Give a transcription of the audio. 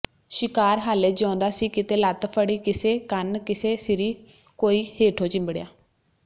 ਸ਼ਿਕਾਰ ਹਾਲੇ ਜਿਉਂਦਾ ਸੀ ਕਿਤੇ ਲੱਤ ਫੜੀ ਕਿਸੇ ਕੰਨ ਕਿਸੇ ਸਿਰੀ ਕੋਈ ਹੇਠੋਂ ਚਿੰਬੜਿਆ